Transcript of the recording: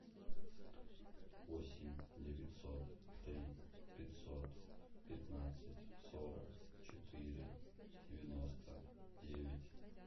восемь девятьсот три пятьсот пятнадцать сорок четыре девяносто девять